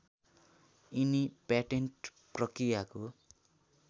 यिनी प्याटेन्ट प्रक्रियाको